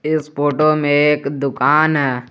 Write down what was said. स फोटो में एक दुकान है।